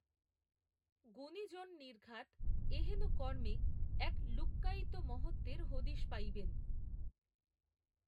গুণিজন নির্ঘাত এহেন কর্মে, এক, লুক্কায়িত মহত্ত্বের হদিশ পাইবেন